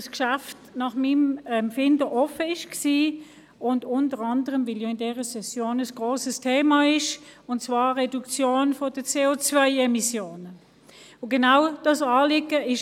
– Weil nach meinem Empfinden das Geschäft offen war, und unter anderem auch, weil die Reduktion der COEmissionen in dieser Session ein grosses Thema ist.